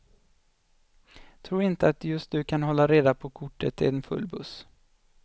Tro inte att just du kan hålla reda på kortet i en full buss.